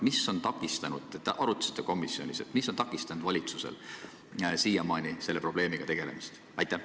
Mis on takistanud – te arutasite komisjonis – valitsusel siiamaani selle probleemiga tegelemast?